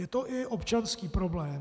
Je to i občanský problém.